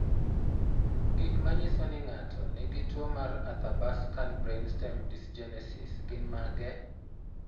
Gik manyiso ni ng'ato nigi tuwo mar Athabaskan brainstem dysgenesis gin mage?